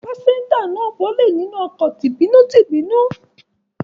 Pásẹ́ńjà náà bọ́lẹ̀ nínú ọkọ̀ tìbínú-tibúnú.